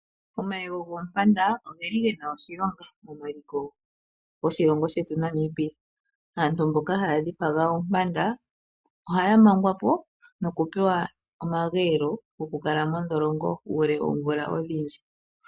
Omayego goompanda oge na oshilonga meliko lyoshilongo shetu Namibia. Aantu mboka haya dhipaga oompanda ohaya mangwa po nokupewa omageelo gokukala mondholongo uule woomvula odhindji.